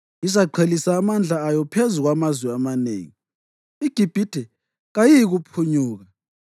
Izaqhelisa amandla ayo phezu kwamazwe amanengi; iGibhithe kayiyikuphunyuka.